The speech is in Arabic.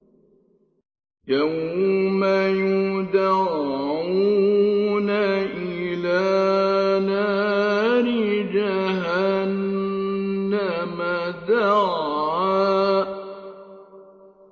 يَوْمَ يُدَعُّونَ إِلَىٰ نَارِ جَهَنَّمَ دَعًّا